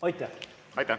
Aitäh!